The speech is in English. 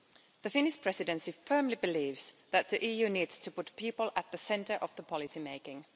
The Finnish Presidency firmly believes that the EU needs to put people at the centre of policymaking.